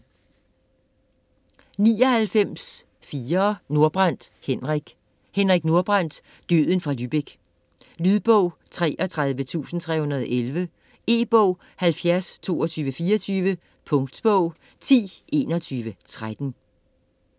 99.4 Nordbrandt, Henrik Nordbrandt, Henrik: Døden fra Lübeck Lydbog 33311 E-bog 702224 Punktbog 102113